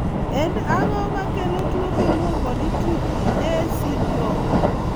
En ang'o makelo tuwo miluongo ni triple A syndrome?